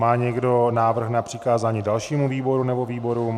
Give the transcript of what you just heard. Má někdo návrh na přikázání dalšímu výboru nebo výborům?